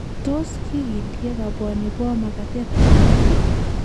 Tos kigindie kabwani bo makatetab moet ii?